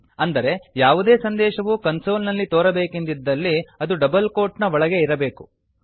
ಅಂದರೆ ಯಾವುದೇ ಸಂದೇಶವು ಕನ್ಸೋಲ್ ನಲ್ಲಿ ತೋರಬೇಕೆಂದಿದ್ದಲ್ಲಿ ಅದು ಡಬಲ್ ಕೋಟ್ ನ ಒಳಗೆ ಇರಬೇಕು